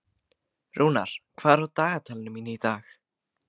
Rúnar, hvað er á dagatalinu mínu í dag?